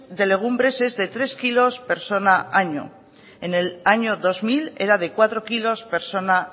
de legumbres es de tres kilos por persona al año en el año dos mil era de cuatro kilos por persona